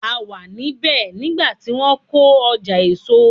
A wà ní bẹ̀ nígbà tí wọ́n kọ́ ọjà èso.